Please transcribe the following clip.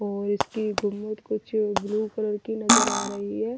और इसकी गुममद कुछ ब्लू कलर की नजर आ रही है।